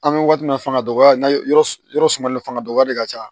An bɛ waati min na fanga dɔgɔya na yɔrɔ sumalen fanga dɔgɔya de ka ca